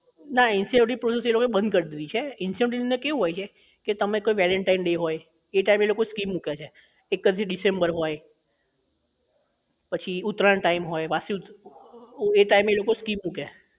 ના incentive process તો એ લોકો એ બંધ કરી દીધી છે incentive ની અંદર કેવું હોય છે કે તમે કોઈ valentine day હોય એ time એ લોકો scheme મૂકે છે એકત્રીસ ડિસેમ્બર હોય પછી ઉતરાયણ time હોય વાસી ઉત એ time એ લોકો scheme મૂકે